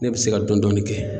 Ne bi se ka dɔni dɔni kɛ.